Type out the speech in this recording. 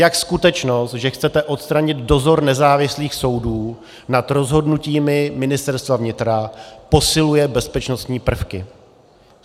Jak skutečnost, že chcete odstranit dozor nezávislých soudů nad rozhodnutími Ministerstva vnitra, posiluje bezpečnostní prvky.